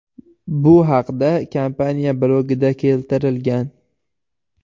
Bu haqda kompaniya blogida keltirilgan .